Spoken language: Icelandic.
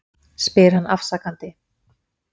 spyr hann afsakandi.